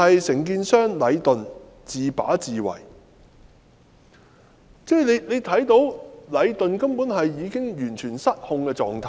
承建商禮頓完全是自把自為，大家也看到禮頓已處於完全失控的狀態。